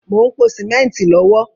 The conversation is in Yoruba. Mo ń pò símẹ́ntì lọ́wọ́